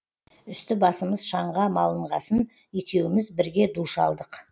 үсті басымыз шаңға малынғасын екеуміз бірге душ алдық